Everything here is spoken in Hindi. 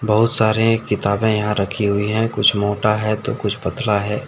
बहुत सारे किताबें यहां रखी हुई हैं कुछ मोटा है तो कुछ पतला है।